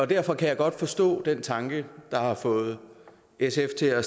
derfor kan jeg godt forstå den tanke der er fået sf til at